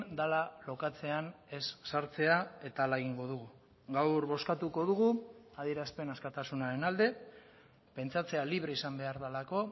dela lokatzean ez sartzea eta hala egingo dugu gaur bozkatuko dugu adierazpen askatasunaren alde pentsatzea libre izan behar delako